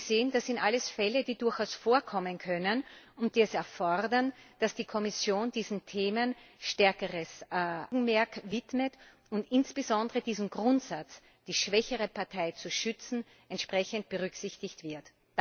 Sie sehen, das sind alles Fälle, die durchaus vorkommen können und die es erfordern, dass die Kommission diesen Themen stärkeres Augenmerk widmet und insbesondere der Grundsatz, die schwächere Partei zu schützen, entsprechend berücksichtigt wird.